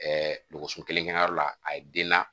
dɔgɔso kelen kɛ yɔrɔ la a ye den na